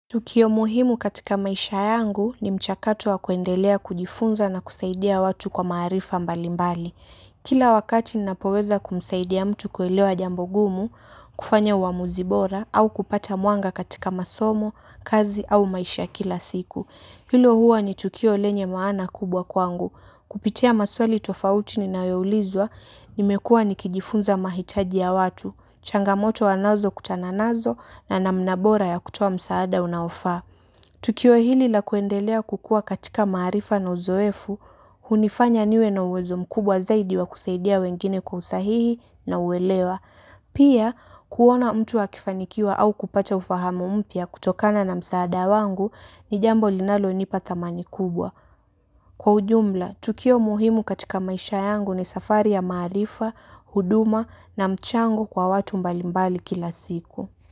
Tukio muhimu katika maisha yangu ni mchakato wa kuendelea kujifunza na kusaidia watu kwa maarifa mbalimbali. Kila wakati ninapoweza kumsaidia mtu kuelewa jambo gumu kufanya uamuzi bora au kupata mwanga katika masomo kazi au maisha ya kila siku. Hilo huwa ni tukio lenye maana kubwa kwangu. Kupitia maswali tofauti ninayo ulizwa, nimekua nikijifunza mahitaji ya watu, changamoto wanazokutana nazo na namna bora ya kutoa msaada unaofaa. Tukio hili la kuendelea kukua katika maarifa na uzoefu, hunifanya niwe na uwezo mkubwa zaidi wa kusaidia wengine kwa usahihi na uwelewa. Pia, kuona mtu akifanikiwa au kupata ufahamu mpya kutokana na msaada wangu ni jambo linalo nipa thamani kubwa. Kwa ujumla, tukio muhimu katika maisha yangu ni safari ya maarifa, huduma na mchango kwa watu mbalimbali kila siku.